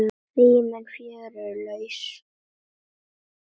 Rýmin fjögur eru laus.